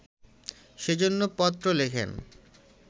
সে জন্য পত্র লেখেন